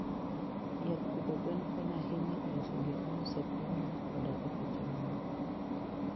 Yath pidho gwen konyo ahinya e loso gik miuso e pinyno koda e pinje mamoko.